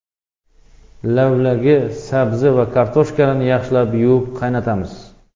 Lavlagi, sabzi va kartoshkani yaxshilab yuvib, qaynatamiz.